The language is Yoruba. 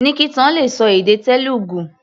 Nikita le ṣọ èdè Telugu.